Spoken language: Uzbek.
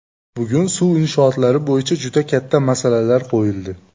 Bugun suv inshootlari bo‘yicha juda katta masalalar qo‘yildi.